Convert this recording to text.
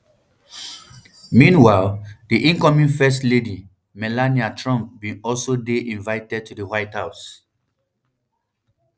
meanwhile di incoming first lady melania trump bin also dey invited to di white house